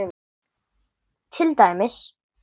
Til dæmis